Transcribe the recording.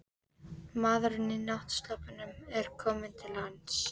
Maðurinn í náttsloppnum er kominn til hans.